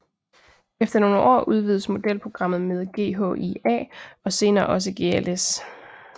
Efter nogle år udvides modelprogrammet med GHIA og senere også GLS